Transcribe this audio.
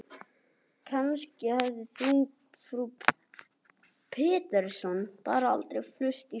Kannski hafði frú Pettersson bara aldrei flust frá Svíþjóð.